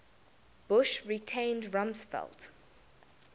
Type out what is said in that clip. bush retained rumsfeld